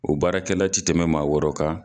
O baarakɛla ti tɛmɛn maa wɔɔrɔ kan.